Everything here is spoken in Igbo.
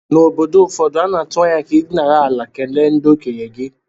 N’obodo ụfọdụ, a na-atụ anya ka ị dinara ala kelee ndị okenye gị